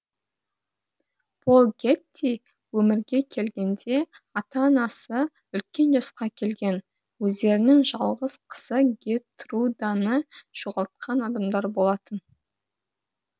пол гетти өмірге келгенде ата анасы үлкен жасқа келген өздерінің жалғыз қызы гертруданы жоғалтқан адамдар болатын